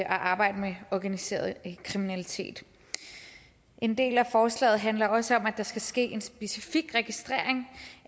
at arbejde med organiseret kriminalitet en del af forslaget handler også om at der skal ske en specifik registrering